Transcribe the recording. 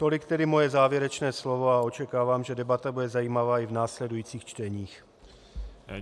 Tolik tedy moje závěrečné slovo a očekávám, že debata bude zajímavá i v následujících čteních.